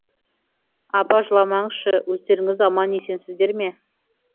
апа жыламаңызшы өздеріңіз аман есенсіздер ме